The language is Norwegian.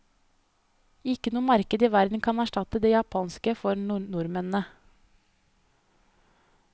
Ikke noe marked i verden kan erstatte det japanske for nordmennene.